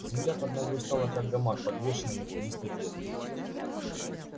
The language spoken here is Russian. земля под ногой стала как гамак подвешенный над тинистой бездной